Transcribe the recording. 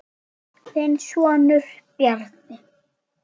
Þinn sonur, Bjarni.